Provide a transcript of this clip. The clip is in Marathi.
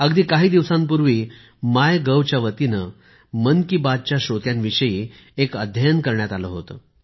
अगदी काही दिवसांपूर्वी माय गव्ह च्या वतीने मन की बात च्या श्रोत्यांविषयी एक अध्ययन करण्यात आले होते